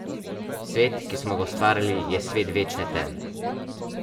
Svet, ki smo ga ustvarili, je svet večne teme.